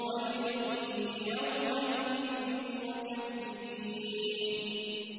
وَيْلٌ يَوْمَئِذٍ لِّلْمُكَذِّبِينَ